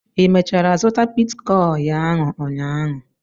Ị mechara zụta bitkọịn ahụ ụnyaahụ?